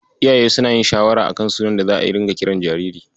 Iyaye suna yin shawarar a kan sunan da za'a dinga kiran jariri.